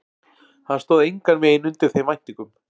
Hann stóð engan veginn undir þeim væntingum.